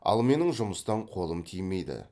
ал менің жұмыстан қолым тимейді